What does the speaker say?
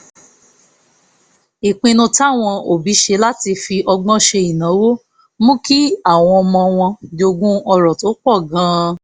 ìpinnu táwọn òbí ṣe láti fi ọgbọ́n ṣe ìnáwó mú kí àwọn ọmọ wọn jogún ọrọ̀ tó pọ̀ gan-an